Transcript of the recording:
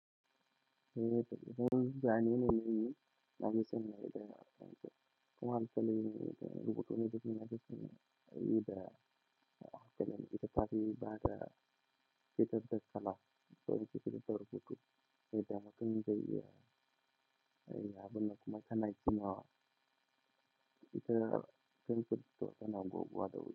Eh, to yanzu an yi nan yi, na ji sanda ya da kuma an salla ne da rubutu na ji suna yi da wata nan ita fari ba da ita da sallah. To ita ita rubutu, sai da muka min dai, ya abun nan kuma sana'a suna wa ita fili fitar da na goguwa da wuri.